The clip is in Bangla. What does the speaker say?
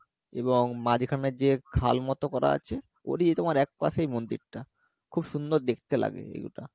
এবং মাঝখানে যে খাল মতো করা আছে একপাশেই মন্দিরটা খুব সুন্দর দেখতে লাগে ওই ওটা